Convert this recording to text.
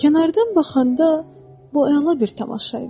Kənardan baxanda bu əla bir tamaşa idi.